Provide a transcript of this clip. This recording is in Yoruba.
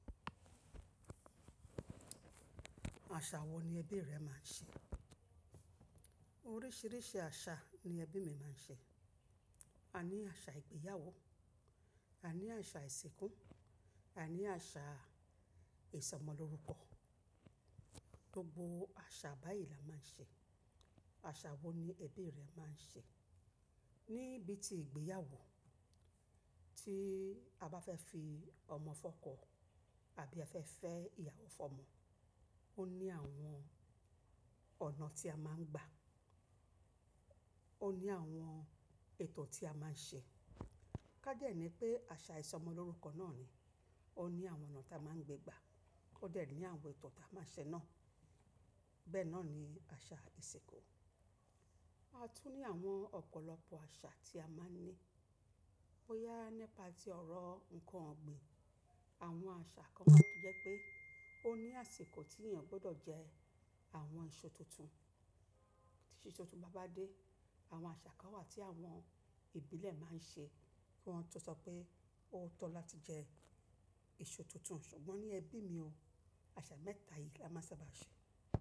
Àṣà wo ni ẹbí rẹ máa ń ṣe? Oríṣiríṣi àṣà ni ẹbí mi máa ń ṣe. A ní àṣà ìgbéyàwó, a ní àṣà ìsìnkú, a ní àṣà ìsọmọlórúkọ. Gbogbo àṣà báyìí la máa ń ṣe. Àṣà wo ni ẹbí rẹ máa ń ṣe? Ni bí ti ìgbéyàwó, tí a bá fẹ́ fi ọmọ fọ́kọ àbí a fẹ́ fẹ́ ìyàwó fọ́mọ, ó ní àwọn ọ̀nà tí a máa ń gba, ó ní àwọn ètò tí a máa ń ṣe. Ká dé ẹ ní pé àṣà ìsọmọlórúkọ náà ni, ó ní àwọn ọ̀nà tí a máa ń gbé gbà. Ó dẹ̀ ní àwọn ètò tí a máa ń ṣe náà. Bẹ́ẹ̀ náà ni àṣà ìsìnkú. A tún ní àwọn ọ̀pọ̀lọpọ̀ àṣà tí a máa ń ní. Boya nípa ti ọ̀rọ̀ ǹkan ọ̀gbìn. Àwọn àṣà kan jẹ́ pé ó ní àsìkò tí ènìyàn gbọdọ̀ jẹ àwọn èso tuntun. Tí èso tuntun bá bá dé, àwọn àṣà kan wà tí àwọn ìbílẹ̀ máa ń ṣe kí wọn tó sọ pé ó tó láti jẹ èso tuntun. Ṣùgbọ́n ní ẹbí mi o, àṣà mẹ́ta yìí la máa ń sábà ṣe.